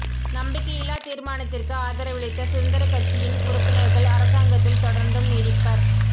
நம்பிக்கையில்லா தீர்மானத்திற்கு ஆதரவளித்த சுதந்திரக் கட்சியின் உறுப்பினர்கள் அரசாங்கத்தில் தொடர்ந்தும் நீடிப்பர்